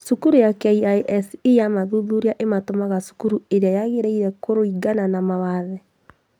Cukuru ya KISE yamathuthuria ĩmatũmaga cukuru ĩrĩa yagĩrĩire kũringana na mawathe